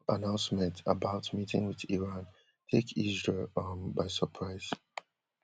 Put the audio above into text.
announcement about meeting with iran take israel um by surprise